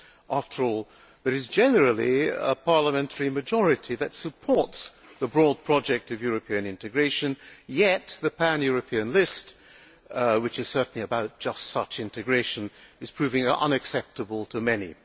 After all, there is generally a parliamentary majority that supports the broad project of European integration, yet the pan European list, which is certainly about just such integration, is proving unacceptable to many.